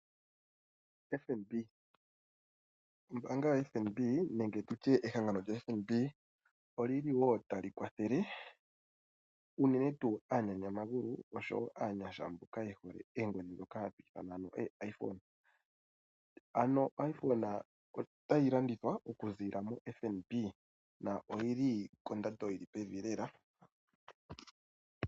Ombaanga yo FNB, nenge tutye ehangano lyoFNB olili wo talikwathele unene tuu aanyanyamagulu, oshowo aanyasha mboka yehole eengodhi ndhoka hadhi ithanwa eeiPhone. Ano oiPhone otayi landithwa okuziilila moFNB, na oyili kondando yili pevi lela.